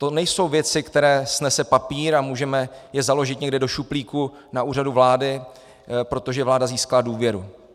To nejsou věci, které snese papír a můžeme je založit někde do šuplíku na Úřadu vlády, protože vláda získala důvěru.